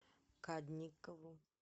кадникову